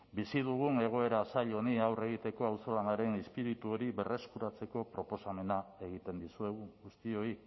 bizi dugun egoera zail honi aurre egiteko auzolanaren izpiritu hori berreskuratzeko proposamena egiten dizuegu guztioi